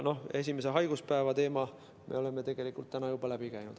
Esimese haiguspäeva teema me oleme tegelikult täna juba läbi käinud.